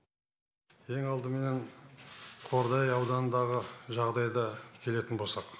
ең алдыменен қордай ауданындағы жағдайды келетін болсақ